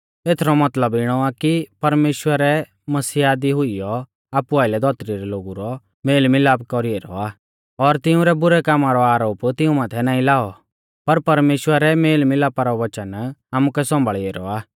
एथरौ मतलब इणौ आ कि परमेश्‍वरै मसीहा दी हुइयौ आपु आइलै धौतरी रै लोगु रौ मेल मिलाप कौरी ऐरौ आ और तिंउरै बुरै कामा रौ आरोप तिऊं माथै नाईं लाऔ और परमेश्‍वरै मेल मिलापा रौ वचन आमुकै सौंभाल़ी ऐरौ आ